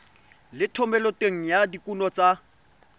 le thomeloteng ya dikuno tsa